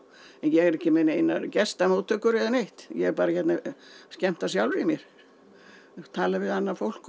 ég er ekki með neinar gestamóttökur eða neitt ég er bara hérna að skemmta sjálfri mér tala við annað fólk og